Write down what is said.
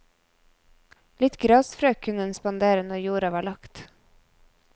Litt grasfrø kunne en spandere når jorda var lagt.